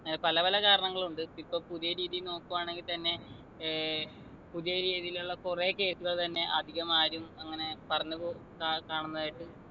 ഏർ പലപല കാരണങ്ങളുണ്ട് ഇപ്പൊ പുതിയ രീതിയിൽ നോക്കു ആണെങ്ങി തന്നെ ഏർ പുതിയ രീതിയിലുള്ള കുറെ case കൾ തന്നെ അധികമാരും അങ്ങനെ പറഞ്ഞ് കൊ കാ കാണുന്നതായിട്ട്